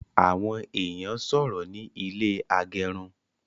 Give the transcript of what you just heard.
Awọn èèyàn sọrọ ní ilé agẹrun